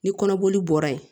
Ni kɔnɔboli bɔra yen